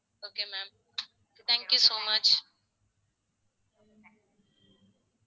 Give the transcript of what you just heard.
okay ma'am thank you so much